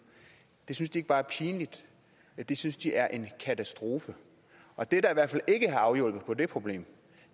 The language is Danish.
det synes de ikke bare er pinligt det synes de er en katastrofe og det der i hvert fald ikke har afhjulpet det problem